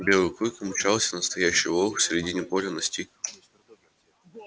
белый клык мчался настоящий волк середине поля настиг